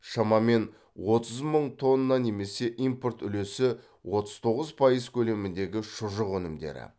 шамамен отыз мың тонна немесе импорт үлесі отыз тоғыз пайыз көлеміндегі шұжық өнімдері